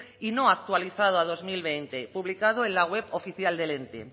y no actualizado a dos mil veinte publicado en la web oficial del ente